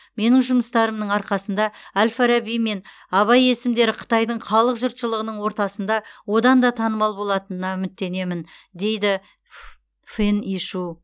менің жұмыстарымның арқасында әл фараби мен абай есімдері қытайдың қалың жұртшылығының ортасында одан да танымал болатынына үміттенемін дейді ф фэн ишу